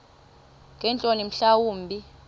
ngeentloni mhla wumbi